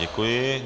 Děkuji.